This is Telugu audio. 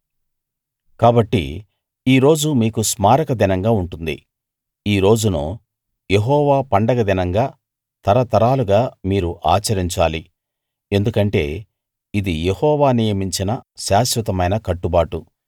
కాబట్టి ఈ రోజు మీకు స్మారక దినంగా ఉంటుంది ఈ రోజును యెహోవా పండగ దినంగా తరతరాలుగా మీరు ఆచరించాలి ఎందుకంటే ఇది యెహోవా నియమించిన శాశ్వతమైన కట్టుబాటు